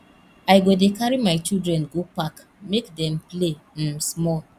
i go dey carry my children go park make dem play um small